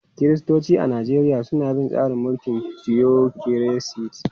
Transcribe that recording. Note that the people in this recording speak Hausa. Kiristoci a Najeriya suna bin tsarin mulkin tiyokiresi.